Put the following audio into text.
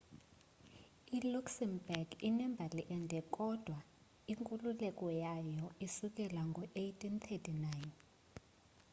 iluxembourg inembali ende kodwa inkululeko yayo isukela ngo-1839